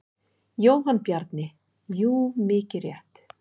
Jóhann Bjarni: Jú mikið rétt.